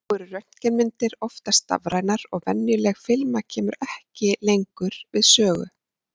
nú eru röntgenmyndir oftast stafrænar og venjuleg filma kemur ekki lengur við sögu